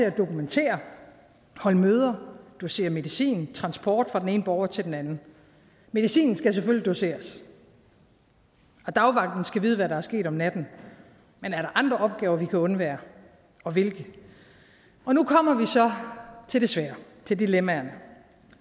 at dokumentere holde møder dosere medicin transport fra den ene borger til den anden medicinen skal selvfølgelig doseres og dagvagten skal vide hvad der er sket om natten men er der andre opgaver vi kan undvære og hvilke nu kommer vi så til det svære til dilemmaerne